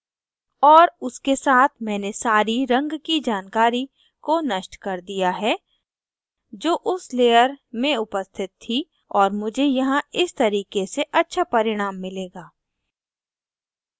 और उसके साथ मैंने सारी रंग की जानकारी को नष्ट कर दिया है जो उस layer में उपस्थित थी और मुझे यहाँ इस तरीके से अच्छा परिणाम मिलेगा